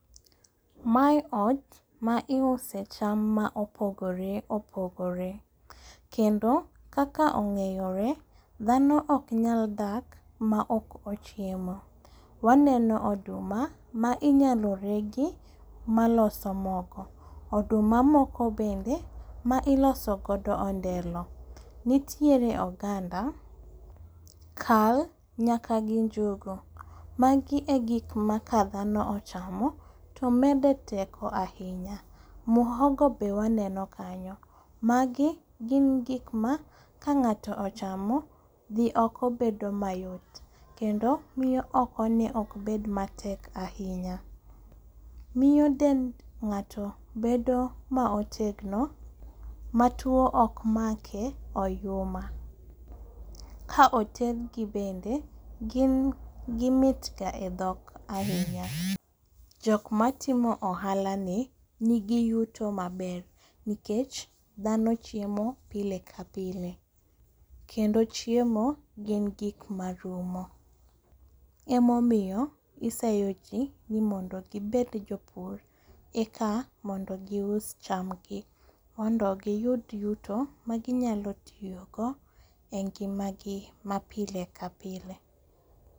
Mae ot ma iuse cham ma opogore opogore, kendo kakla ong'eyore dhano oknyal dak maok ochiemo. Waneno oduma ma inyalo regi maloso mogo, oduma moko bende ma ilosogodo ondelo. Nitiere oganda, kal nyaka gi njugu. Magi e gikma ka dhano ochamo to mede teko ahinya. Muhogo be waneno kanyo, magi gin gikma kang'ato ochamo dhi oko bedo mayot kendo miyo okone okbed matek ahinya. Miyo dend ng'ato bedo maotegno ma tuo okmake oyuma. Kaotedgi bende gimitga e dhok ahinya, jokmatimo ohalani nigi yuto maber nikech dhano chiemo pile ka pile kendo chiemo gin gikmarumo emomiyo iseyo ji ni mondo gibed jopur eka mondo gius chamgi mondo giyud yuto maginyalotiyogo e ngimagi ma pile ka pile.